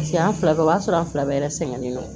Paseke an fila bɛɛ b'a sɔrɔ an fila bɛɛ sɛgɛnnen don